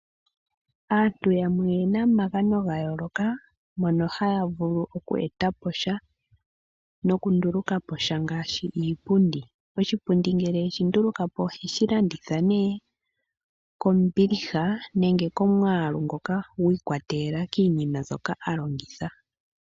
Aantu yamwe oyena omagano gayoloka mono haya vulu oku etapo sha no kundulukapo sha ngaashi iipundi, oshipundi ngele eshi ndulukapo oheshi landitha nee kombiliha nenge komwalu ngoka gwiikwatelela kiinima mbyoka aalongitha.